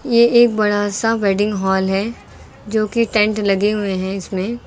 ये एक बड़ा सा वेडिंग हॉल है जो कि टेंट लगे हुए हैं इसमें।